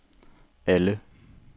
alle